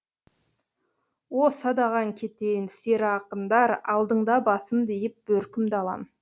о садағаң кетейін сері ақындар алдыңда басымды иіп бөркімді алам